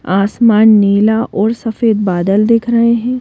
आसमान नीला और सफेद बादल दिख रहे हैं।